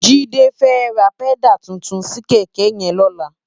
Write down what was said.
Jide fè rá pèdá tútún si kèkè yèn lólá